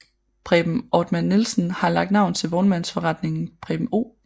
Preben Ortmann Nielsen har lagt navn til vognmandsforretningen Preben O